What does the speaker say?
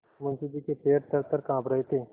मुंशी जी के पैर थरथर कॉँप रहे थे